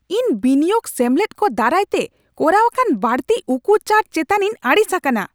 ᱤᱧ ᱵᱤᱱᱤᱭᱳᱜ ᱥᱮᱢᱞᱮᱫ ᱠᱚ ᱫᱟᱨᱟᱭᱛᱮ ᱠᱚᱨᱟᱣ ᱟᱠᱟᱱ ᱵᱟᱹᱲᱛᱤ ᱩᱠᱩ ᱪᱟᱨᱡ ᱪᱮᱛᱟᱱᱤᱧ ᱟᱹᱲᱤᱥ ᱟᱠᱟᱱᱟ ᱾